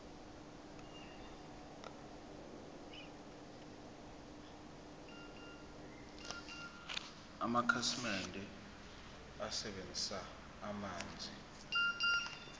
amakhasimende asebenzisa amanzi